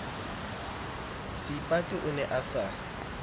seipati o ne a sa